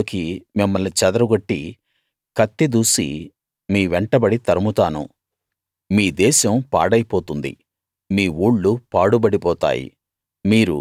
జనాల్లోకి మిమ్మల్ని చెదరగొట్టి కత్తి దూసి మీ వెంటబడి తరుముతాను మీ దేశం పాడైపోతుంది మీ ఊళ్లు పాడుబడిపోతాయి